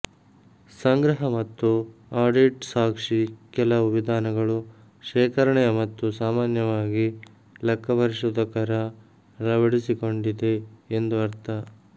ಸಂಗ್ರಹ ಮತ್ತು ಆಡಿಟ್ ಸಾಕ್ಷಿ ಕೆಲವು ವಿಧಾನಗಳು ಶೇಖರಣೆಯ ಮತ್ತು ಸಾಮಾನ್ಯವಾಗಿ ಲೆಕ್ಕಪರಿಶೋಧಕರ ಅಳವಡಿಸಿಕೊಂಡಿದೆ ಎಂದು ಅರ್ಥ